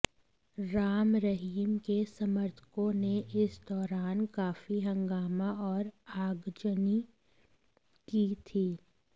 राम रहीम के समर्थकों ने इस दौरान काफी हंगामा और आगजनी की थी